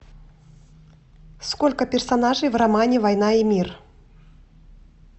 сколько персонажей в романе война и мир